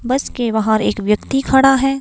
बस के बाहर एक व्यक्ति खड़ा है।